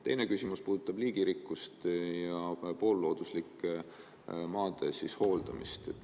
Teine küsimus puudutab liigirikkust ja poollooduslike maade hooldamist.